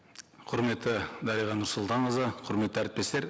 құрметті дариға нұрсұлтанқызы құрметті әріптестер